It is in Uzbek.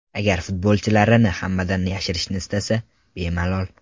Agar futbolchilarini hammadan yashirishni istasa bemalol.